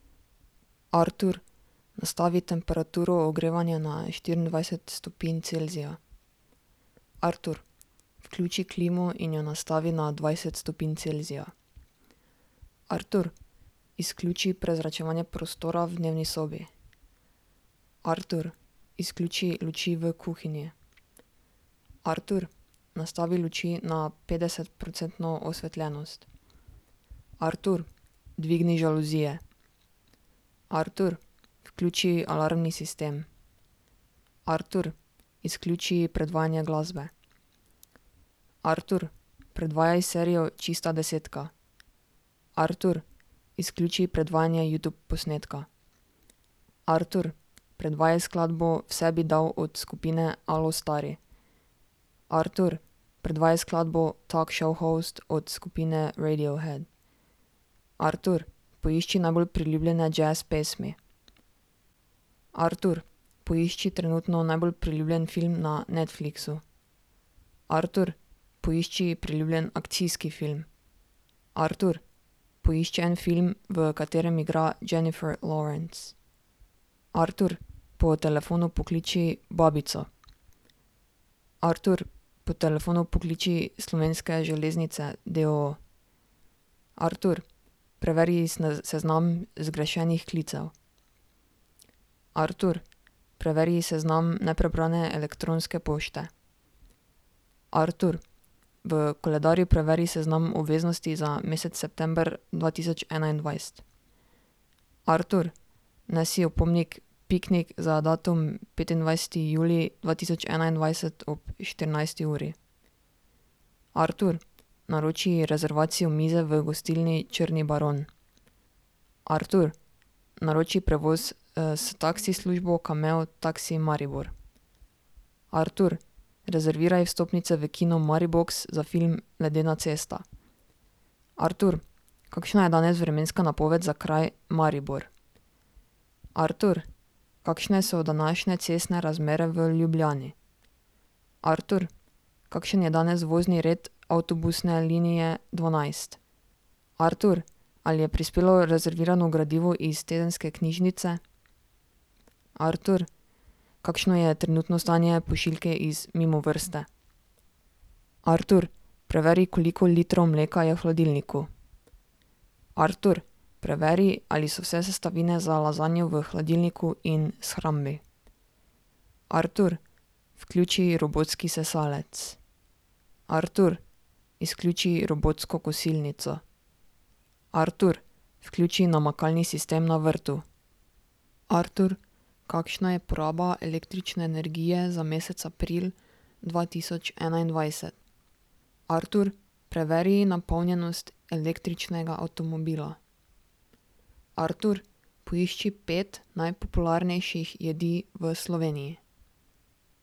Artur, nastavi temperaturo ogrevanja na štiriindvajset stopinj Celzija. Artur, vključi klimo in jo nastavi na dvajset stopinj Celzija. Artur, izključi prezračevanje prostora v dnevni sobi. Artur, izključi luči v kuhinji. Artur, nastavi luči na petdesetprocentno osvetljenost. Artur, dvigni žaluzije. Artur, vključi alarmni sistem. Artur, izključi predvajanje glasbe. Artur, predvajaj serijo Čista desetka. Artur, izključi predvajanje Youtube posnetka. Artur, predvajaj skladbo Vse bi dal od skupine Alostari. Artur, predvajaj skladbo Talk Show Host od skupine Radiohead. Artur, poišči najbolj priljubljene jazz pesmi. Artur, poišči trenutno najbolj priljubljen film na Netflixu. Artur, poišči priljubljen akcijski film. Artur, poišči en film, v katerem igra Jennifer Lawrence. Artur, po telefonu pokliči babico. Artur, po telefonu pokliči Slovenske železnice d. o. o. Artur, preveri seznam zgrešenih klicev. Artur, preveri seznam neprebrane elektronske pošte. Artur, v koledarju preveri seznam obveznosti za mesec september dva tisoč enaindvajset. Artur, vnesi opomnik Piknik za datum petindvajseti julij dva tisoč enaindvajset ob štirinajsti uri. Artur, naroči rezervacijo mize v gostilni Črni baron. Artur, naroči prevoz, s taksi službo Cammeo Taxi Maribor. Artur, rezerviraj vstopnice v Kino Maribox za film Ledena cesta. Artur, kakšna je danes vremenska napoved za kraj Maribor? Artur, kakšne so današnje cestne razmere v Ljubljani? Artur, kakšen je danes vozni red avtobusne linije dvanajst? Artur, ali je prispelo rezervirano gradivo iz tedenske knjižnice? Artur, kakšno je trenutno stanje pošiljke iz Mimovrste? Artur, preveri, koliko litrov mleka je v hladilniku. Artur, preveri, ali so vse sestavine za lazanjo v hladilniku in shrambi. Artur, vključi robotski sesalec. Artur, izključi robotsko kosilnico. Artur, vključi namakalni sistem na vrtu. Artur, kakšna je poraba električne energije za mesec april dva tisoč enaindvajset? Artur, preveri napolnjenost električnega avtomobila. Artur, poišči pet najpopularnejših jedi v Sloveniji.